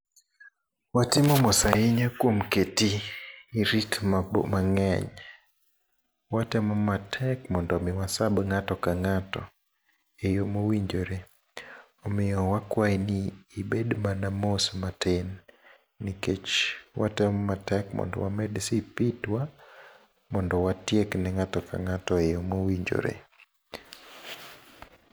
Watimo mos ahinya kuom keti, irit mangény. Watemo matek mondo omi wa serve ngáto ka ngáto e yo mowinjore. Omiyo wakwayi ni ibed mana mos matin. Nikech watemo matek mondo wamed speed wa, mondo watiek ne ngáto ka ng'ato e yo mowinjore.